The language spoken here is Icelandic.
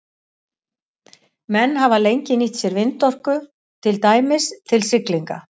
Menn hafa lengi nýtt sér vindorku, til dæmis til siglinga.